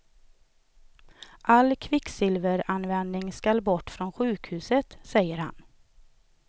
All kvicksilveranvändning skall bort från sjukhuset, säger han.